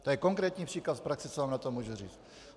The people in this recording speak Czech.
To je konkrétní příklad z praxe, co vám na to můžu říct.